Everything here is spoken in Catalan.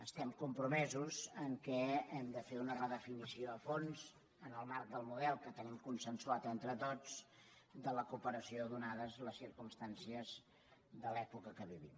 estem compromesos a fer una redefinició a fons en el marc del model que tenim consensuat entre tots de la cooperació ateses les circumstàncies de l’època que vivim